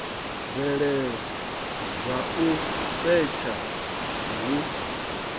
mvelelo dza u setsha hu